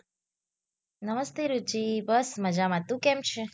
નમસ્તે રુચિ બસ મજામાં તું કેમ છે.